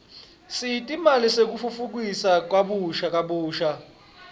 setimali tekutfutfukisa kabusha